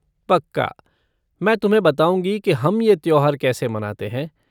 पक्का, मैं तुम्हें बताऊँगी कि हम ये त्योहार कैसे मनाते हैं।